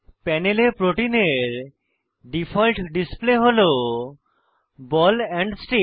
প্যানেলে প্রোটিনের default display হল বল এন্ড স্টিক